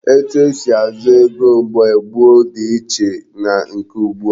Etu esi azụ ego mgbe gboo dị iche na nke ugbu a.